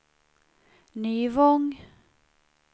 Nyvång